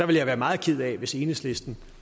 ville være meget ked af hvis enhedslisten